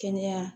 Kɛnɛya